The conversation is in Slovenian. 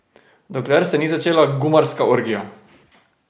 Dokler se ni začela gumarska orgija.